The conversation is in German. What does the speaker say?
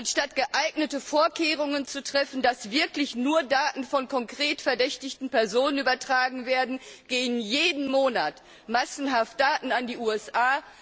Anstatt geeignete Vorkehrungen dafür zu treffen, dass wirklich nur Daten von konkret verdächtigten Personen übertragen werden, gehen jeden Monat massenhaft Daten an die USA.